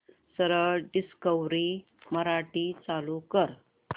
सरळ डिस्कवरी मराठी चालू कर